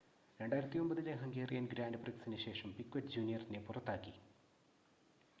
2009-ലെ Hungarian grand പ്രിക്‌സിന് ശേഷം Piquet ജൂനിയറിനെ പുറത്താക്കി